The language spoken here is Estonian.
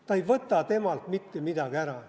See ei võta temalt mitte midagi ära.